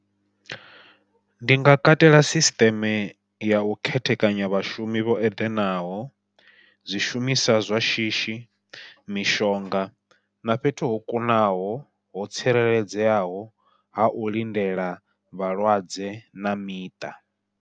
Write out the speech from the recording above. Ndi nga katela sisiṱeme yau khethekanya vhashumi vho eḓenaho, zwishumiswa zwa shishi mishonga na fhethu ho kunaho ho tsireledzeaho ha u lindela vhalwadze na miṱa.